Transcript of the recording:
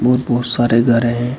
बहुत बहुत सारे घर हैं।